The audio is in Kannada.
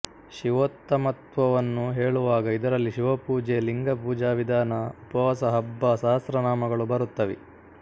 ಶಿವೋತ್ತಮತ್ವವನ್ನು ಹೇಳುವಾಗ ಇದರಲ್ಲಿ ಶಿವಪೂಜೆ ಲಿಂಗಪುಜಾವಿಧಾನ ಉಪವಾಸ ಹಬ್ಬ ಸಹಸ್ರನಾಮಗಳು ಬರುತ್ತವೆ